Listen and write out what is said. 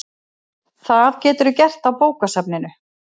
Það geturðu gert á bókasafninu